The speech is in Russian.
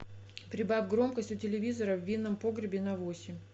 прибавь громкость у телевизора в винном погребе на восемь